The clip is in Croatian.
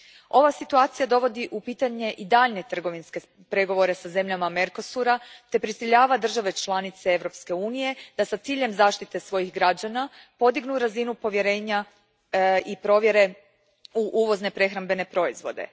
Ova situacija dovodi u pitanje i daljnje trgovinske pregovore sa zemljama Mercosura te prisiljava države članice Europske unije da s ciljem zaštite svojih građana podignu razinu povjerenja i provjere uvoznih prehrambenih proizvoda.